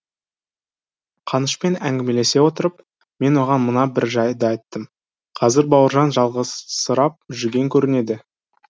қанышпен әңгімелесе отырып мен оған мына бір жайды айттым қазір бауыржан жалғызсырап жүрген көрінеді